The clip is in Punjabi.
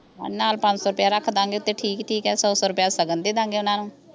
ਹਾਂ ਨਾਲ ਪੰਜ ਸੌ ਰੁਪਈਆ ਰੱਖ ਦਾਂ ਗੇ ਤੇ ਠੀਕ ਠੀਕ ਆ ਸੌ ਸੌ ਰੁਪਈਆ ਸ਼ਗਨ ਦੇ ਦਿਆਂਗੇ ਓਹਨਾਂ ਨੂੰ